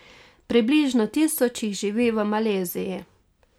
Približno tisoč jih živi v Maleziji.